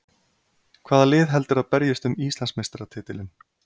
Hvaða lið heldurðu að berjist um Íslandsmeistaratitilinn?